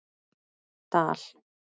Dal